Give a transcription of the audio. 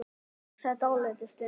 Hugsi dálitla stund.